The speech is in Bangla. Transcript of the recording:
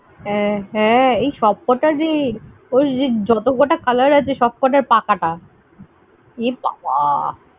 হ্যাঁ ~ হ্যাঁ। এই সব কটার রে। এই এই যত কটা colour আছে, সব কটার পা কাটা। এবাবা